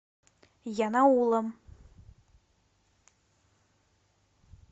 янаулом